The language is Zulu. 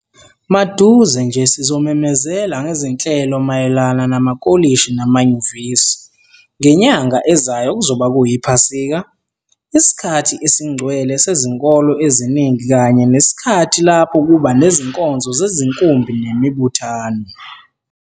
Maduze nje sizomemezela ngezinhlelo mayelana namakolishi namanyuvesi. Ngenyanga ezayo kuzoba kuyiPhasika, isikhathi esingcwele sezinkolo eziningi kanye nesikhathi lapho kuba nezinkonzo zezinkumbi nemibuthano.